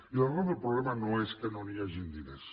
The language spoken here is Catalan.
i l’arrel del problema no és que no hi hagin diners